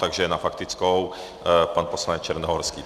Takže na faktickou pan poslanec Černohorský.